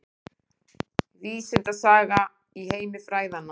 Vísindasagan í heimi fræðanna